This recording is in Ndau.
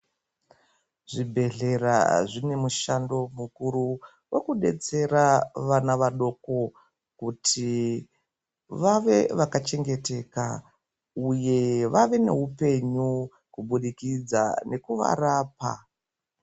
Zvibhehlera zvine mushando mukuru wekudetsera vana vadoko kuti vave vakachengeteka uye vave neupenyu kubudikidza nekuvarapa.